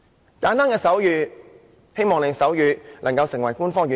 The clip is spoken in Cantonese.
很簡單的手語，希望手語能成為官方語言。